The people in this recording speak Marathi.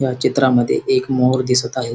या चित्रामद्धे एक मोर दिसत आहे.